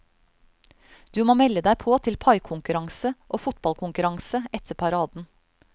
Du må melde deg på til paikonkurranse og fotballkonkurranse etter paraden.